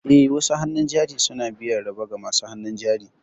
Eh, wasu hannun jari suna biyan riba ga masu hannun jari.